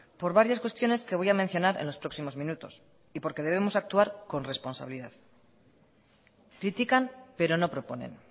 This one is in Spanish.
por varias cuestiones que voy a mencionar en los próximos minutos y porque debemos actuar con responsabilidad critican pero no proponen